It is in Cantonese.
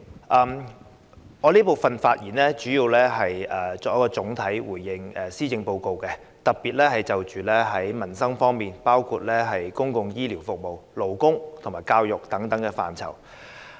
代理主席，我在這辯論環節的發言主要想總體回應施政報告的內容，特別是民生方面的措施，包括公共醫療服務、勞工和教育等範疇。